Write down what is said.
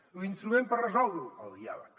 l’instrument per resoldre ho el diàleg